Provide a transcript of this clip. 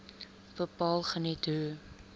bepaal geniet hoë